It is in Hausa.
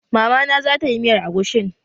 Mama na zatayi miyar agushin